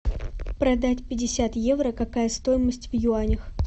продать пятьдесят евро какая стоимость в юанях